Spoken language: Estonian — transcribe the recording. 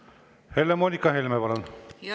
Helle-Moonika Helme, palun!